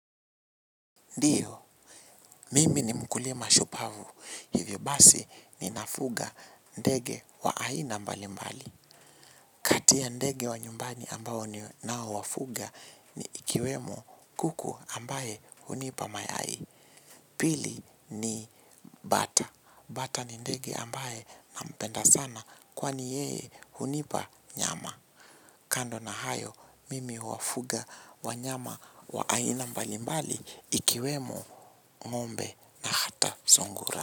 Ndio, mimi ni mkulima shupavu. Hivyo basi ninafuga ndege wa aina mbali mbali. Kati ya ndege wa nyumbani ambao ninao wafuga ni ikiwemo kuku ambaye hunipa mayai. Pili ni bata. Bata ni ndege ambaye nampenda sana kwani yeye hunipa nyama. Kando na hayo, mimi huwafuga wanyama wa aina mbali mbali ikiwemo ng'ombe na hata sungura.